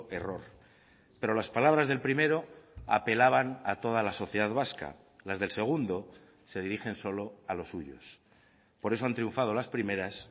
error pero las palabras del primero apelaban a toda la sociedad vasca las del segundo se dirigen solo a los suyos por eso han triunfado las primeras